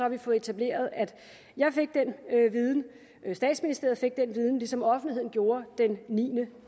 vi fået etableret at jeg fik den viden statsministeriet fik den viden ligesom offentligheden gjorde den niende